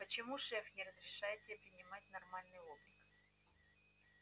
почему шеф не разрешает тебе принимать нормальный облик